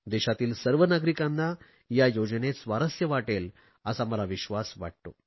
देशातील सर्व नागरिकांना या योजनेत स्वारस्य वाटेल असा मला विश्वास वाटतो